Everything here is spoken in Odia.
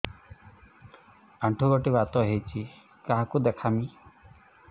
ଆଣ୍ଠୁ ଗଣ୍ଠି ବାତ ହେଇଚି କାହାକୁ ଦେଖାମି